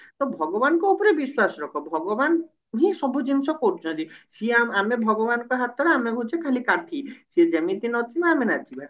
ତ ଭଗବାନଙ୍କ ଉପରେ ବିଶ୍ଵାସ ରଖ ଭଗବାନ ହିଁ ସବୁ ଜିନିଷ କରୁଛନ୍ତି ସିଏ ଆମେ ଆମେ ଭଗବାନଙ୍କ ହାତ ରେ ଆମେ ହଉଛି ଖାଲି କାଠି ସିଏ ଯେମିତି ନଚେଇବେ ଆମେ ନାଚିବା